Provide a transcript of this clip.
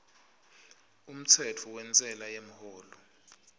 umtsetfo wentsela yemholo